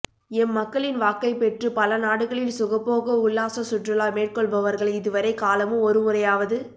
எம்மக்களின் வாக்கைப்பெற்று பல நாடுகளில் சுகபோக உல்லாச சுற்றுலா மேற்கொள்பவர்கள் இதுவரை காலமும் ஒருமுறையாவது